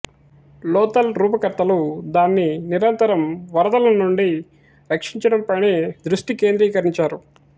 లోథల్ రూపకర్తలు దాన్ని నిరంతర వరదల నుండి రక్షించడం పైనే దృష్టి కేంద్రీకరించారు